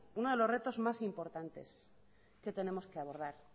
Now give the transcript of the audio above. uno de los retos más importantes que tenemos que abordar